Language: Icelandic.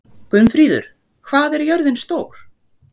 Gunnfríður, hvað er jörðin stór?